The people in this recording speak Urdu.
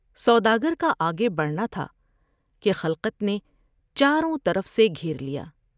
سودا گر کا آگے بڑھنا تھا کہ خلقت نے چاروں طرف سے گھیر لیا ۔